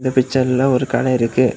இந்த பிச்சர்ல ஒரு கடை இருக்கு.